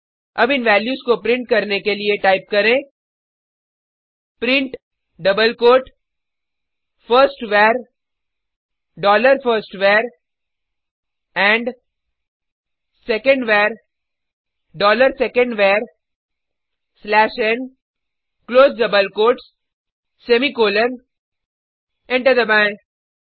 अब इन वैल्यूज को प्रिंट करने के लिए टाइप करें print double quote firstVar dollar firstvar and secondVar dollar secondvar slash n close double quotes semicolon enter दबाएँ